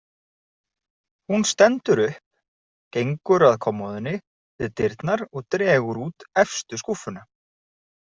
Hún stendur upp, gengur að kommóðunni við dyrnar og dregur út efstu skúffuna.